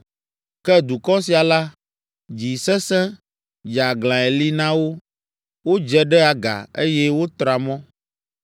Ke dukɔ sia la, dzi sesẽ, dzeaglãe li na wo. Wodze ɖe aga, eye wotra mɔ.’